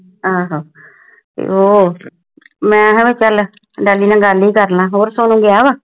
ਆਹੋ ਮੈਂ ਕਿਹਾ ਗਲ ਹੀ ਕਰਲਾ ਹੋਰ ਸੋਨੂੰ ਗਿਆ ਵਾ